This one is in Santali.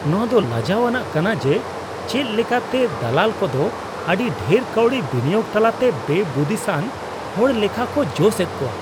ᱱᱚᱶᱟ ᱫᱚ ᱞᱟᱡᱟᱣ ᱟᱱᱟᱜ ᱠᱟᱱᱟ ᱡᱮ ᱪᱮᱫ ᱞᱮᱠᱟ ᱛᱮ ᱫᱟᱞᱟᱞ ᱠᱚᱫᱚ ᱟᱹᱰᱤ ᱰᱷᱮᱨ ᱠᱟᱹᱣᱰᱤ ᱵᱤᱱᱤᱭᱳᱜ ᱛᱟᱞᱟᱛᱮ ᱵᱮᱼᱵᱩᱫᱤᱥᱟᱱ ᱦᱚᱲ ᱞᱮᱠᱷᱟ ᱠᱚ ᱡᱚᱥ ᱮᱫ ᱠᱚᱣᱟ ᱾